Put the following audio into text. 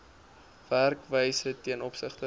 werkwyse ten opsigte